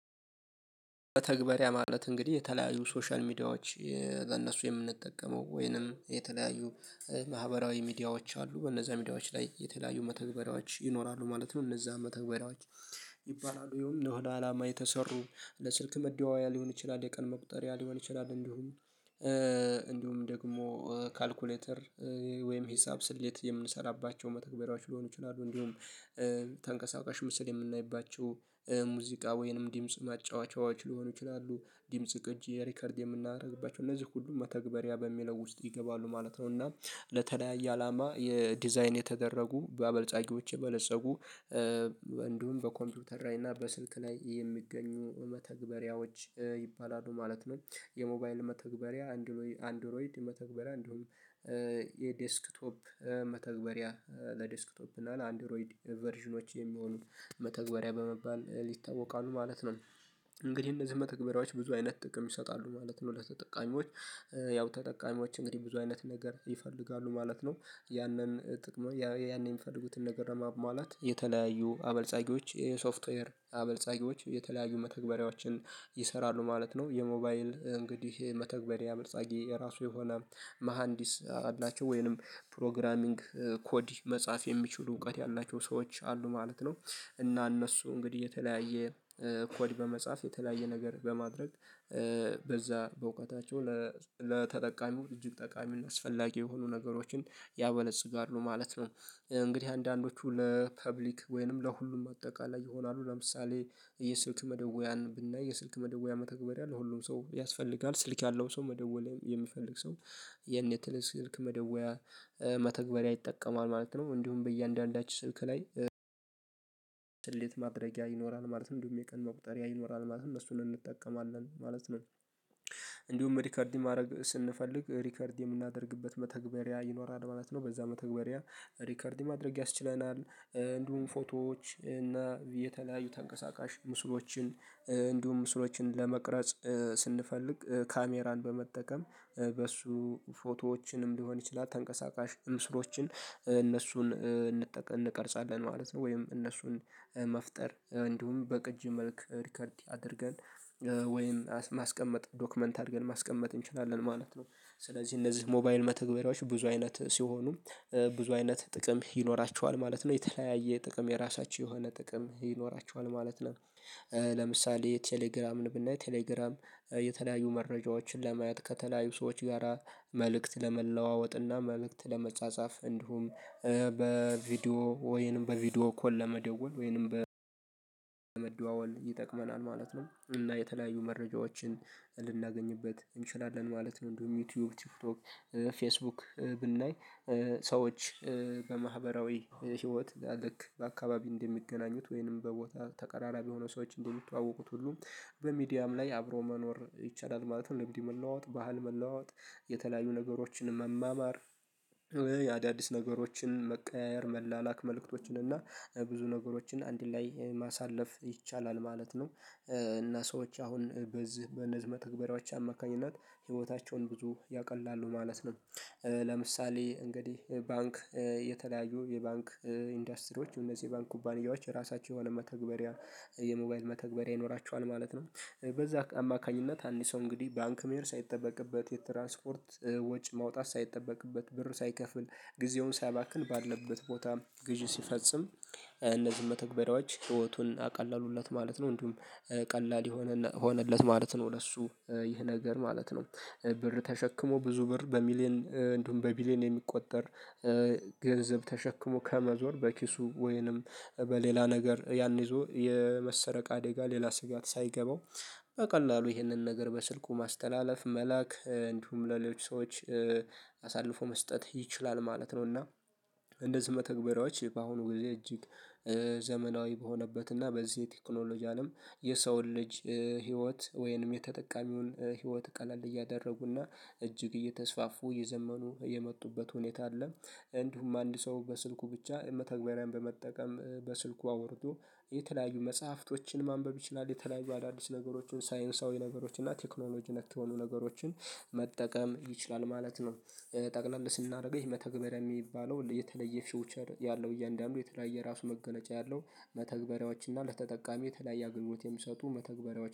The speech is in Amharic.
በተግባር ያ ማለት እንግዲህ የተለያዩ ሶሻል ሚዲያዎች ለእነሱ የምንጠቀመው ወይንም የተለያዩ ማህበራዊ ሚዲያዎች አሉ በነዛ ሚዲያዎች ላይ የተለያዩ መተግበሪያዎች ይኖራሉ ማለት ነው። እነዛ መተግበሪያዎች ይባላሉ ይሄም ለሆነ አላማ የተሰሩ ለስልክ መደዋያ ሊሆን ይችላል የቀን መቁጠሪያ ሊሆን ይችላል እንዲሁም እንዲሁም ደግሞ ካልኩሌተር ወይም ሂሳብ ስሌት የምንሰራባቸው መተግበራዎች ሊሆኑ ይችላሉ። እንዲሁም ተንቀሳቃሽ ምስል የምናይባቸው ሙዚቃ ወይንም ድምጽ ማጫወቻዎች ሊሆኑ ይችላሉ ድምጽ ቅጅ ሪከርድ የምናደርግባቸው እነዚህ ሁሉ መተግበሪያ በሚለው ውስጥ ይገባሉ ማለት ነው። እና ለተለያየ አላማ የዲዛይን የተደረጉ በአበልጻጊዎች የበለፀጉ እንዲሁም በኮምፒውተር ላይ እና በስልክ ላይ የሚገኙ መተግበሪያዎች ይባላሉ ማለት ነው። የሞባይል መተግበሪያ አንድሮይድ መተግበሪያ እንዲሁም የዴስክቶፕ መተግበሪያ ለዴስክቶፕ እና ለአንድሮይድ ቨርዥኖች የሚሆኑ መተግበሪያ በመባል ይታወቃሉ ማለት ነው። እንግዲህ እነዚህ መተግበሪያዎች ብዙ አይነት ጥቅም ይሰጣሉ ማለት ነው። ለተጠቃሚዎች ያው ተጠቃሚዎች እንግዲህ ብዙ አይነት ነገር ይፈልጋሉ ማለት ነው። ያንን ጥቅሙን የሚፈልጉትን ነገር ለማሟላት የተለያዩ አበልጻጊዎች የሶፍትዌር አበልጻጊዎች የተለያዩ መተግበሪያዎችን ይሰራሉ ማለት ነው። የሞባይል እንግዲህ መተግበሪያ አበልጻጊ የራሱ የሆነ መሃንዲስ አላቸው ወይንም ፕሮግራሚንግ ኮዲ መጻፍ የሚችሉ እውቀት ያላቸው ሰዎች አሉ ማለት ነው። እና እነሱ እንግዲህ የተለያየ ኮድ በመጻፍ የተለያየ ነገር በማድረግ በዛ በእውቀታቸው ለተጠቃሚው እጅግ ጠቃሚና አስፈላጊ የሆኑ ነገሮችን ያበለጽጋሉ ማለት ነው። እንግዲህ አንዳንዶቹ ለፐብሊክ ወይንም ለሁሉም አጠቃላይ ይሆናሉ ለምሳሌ የስልክ መደወያን ብናይ የስልክ መደወያ መተግበር ለሁሉም ሰው ያስፈልጋል ስልክ ያለው ሰው መደወል የሚፈልግ ሰው የቴሌ ስልክ መደወያ መተግበሪያ ይጠቀማል ማለት ነው። እንዲሁም በእያንዳንዳችን ስልክ ላይ ስሌት ማድረጊያ ይኖራል ማለት እንዲሁም የቀን መቁጠሪያ ይኖራል ማለት እነሱን እንጠቀማለን ማለት ነው። እንዲሁም ሪከርድ ማድረግ ስንፈልግ ሪከርድ የምናደርግበት መተግበሪያ ይኖራል ማለት ነው። በዛ መተግበሪያ ሪከርድ ማድረግ ያስችለናል እንዲሁም ፎቶዎች እና የተለያዩ ተንቀሳቃሽ ምስሎችን እንዲሁም ምስሎችን ለመቅረጽ ስንፈልግ ካሜራን በመጠቀም በሱ ፎቶዎችንም ሊሆን ይችላል ተንቀሳቃሽ ምስሎችን እነሱን እንቀርጻለን ማለት ነው። ወይም እነሱን መፍጠር እንዲሁም በቅጅ መልክ ሪከርድ አድርገን ወይም ማስቀመጥ ዶክመንት አድርገን ማስቀመጥ እንችላለን ማለት ነው። ስለዚህ እነዚህ ሞባይል መተግበሪያዎች ብዙ አይነት ሲሆኑ ብዙ አይነት ጥቅም ይኖራቸዋል ማለት ነው። የተለያየ ጥቅም የራሳቸው የሆነ ጥቅም ይኖራቸዋል ማለት ነው። ለምሳሌ ቴሌግራምን ብናይ ቴሌግራም የተለያዩ መረጃዎችን ለማየት ከተለያዩ ሰዎች ጋራ መልእክት ለመለዋወጥና መልእክት ለመጻጻፍ እንዲሁም በቪዲዮ ወይንም በቪዲዮ ኮል ለመደወል ወይንም ለመደዋወል ይጠቅመናል ማለት ነው። እና የተለያዩ መረጃዎችን ልናገኝበት እንችላለን ማለት ነው። እንዲሁም ዩቲዩብ ቲክቶክክ ፌስቡክ ብናይ ሰዎች በማህበራዊ ህይወት ልክ በአካባቢ እንደሚገናኙት ወይንም በቦታ ተቀራራቢ የሆኑ ሰዎች እንደሚተዋወቁት ሁሉ በሚዲያም ላይ አብሮ መኖር ይቻላል ማለት ነው። ልምድ መለዋወጥ ባህል መለዋወጥ የተለያዩ ነገሮችን መማማር አዳዲስ ነገሮችን መቀያየር መላላክ መልእክቶችን እና ብዙ ነገሮችን አንድ ላይ ማሳለፍ ይቻላል ማለት ነው። እና ሰዎች አሁን በዚህ በእነዚህ መተግባሪያወች አማካኝነት ህይወታቸውን ብዙ ያቀላሉ ማለት ነው። ለምሳሌ እንግዲህ ባንክ የተለያዩ የባንክ ኢንዱስትሪዎች እነዚህ ባንክ ኩባንያዎች የራሳቸው የሆነ መተግበሪያ የሞባይል መተግበሪያ ይኖራቸዋል ማለት ነው። በዛ አማካኝነት አንድ ሰው እንግዲህ ባንክ መሄድ ሳይጠበቅበት የትራንስፖርት ወጪ ማውጣት ሳይጠበቅበት ብር ሳይከፍል ጊዜውን ሳያባክን ባለበት ቦታ ግዢ ሲፈጽም እነዚህን መተግበሪያዎች ህይወቱን አቀለሉለት ማለት ነው። እንዲሁም ቀላል ሆነለት ማለት ነው ለሱ ይህ ነገር ማለት ነው። ብር ተሸክሞ ብዙ ብር በሚሊዮን እንዲሁም በቢሊዮን የሚቆጠር ገንዘብ ተሸክሞ ከመዞር በኪሱ ወይንም በሌላ ነገር ያን ይዞ የመሰረቅ አደጋ ሌላ ስጋት ሳይገባው በቀላሉ ይህንን ነገር በስልኩ ማስተላለፍ መላክ እንዲሁም ለሌሎች ሰዎች አሳልፎ መስጠት ይችላል ማለት ነው። እና እንነዚህ መተግበሪያዎች በአሁኑ ጊዜ እጅግ ዘመናዊ በሆነበት እና በዚህ የቴክኖሎጂ አለም የሰውን ልጅ ህይወት ወይንም የተጠቃሚውን ህይወት ቀለል እያደረጉና እጅግ እየተስፋፉ የዘመኑ የመጡበት ሁኔታ አለ። እንዲሁም አንድ ሰው በስልኩ ብቻ መተግበሪያን በመጠቀም በስልኩ አወርዶ የተለያዩ መጽሐፍቶችን ማንበብ ይችላል የተለያዩ አዳዲስ ነገሮችን ሳይንሳዊ ነገሮችን እና ቴክኖሎጂ ነክ የሆኑ ነገሮችን መጠቀም ይችላል ማለት ነው። ጠቅለል ስናደርገው ይሄ መተግበር የሚባለው የተለየ ፊውቸር ያለው እያንዳንዱ የተለያየ የራሱ መገለጫ ያለው መተግበሪያዎችና ለተጠቃሚ የተለያየ አገልግሎት የሚሰጡ መተግበሪያዎች